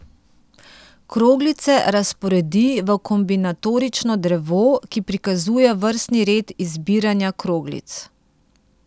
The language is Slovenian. Kroglice razporedi v kombinatorično drevo, ki prikazuje vrstni red izbiranja kroglic.